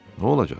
Nə olacaq?